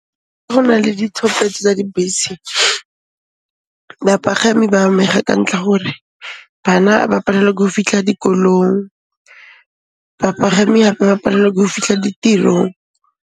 Go na le ditlhopetso tsa dibese, bapagami ba amega ka ntlha gore bana ba palelwa ko fitlha dikolong, bapagami hape ba palelwa ko fitlha ditirong.